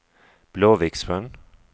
Blåviksjön